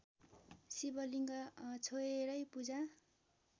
शिवलिङ्ग छोएरै पूजा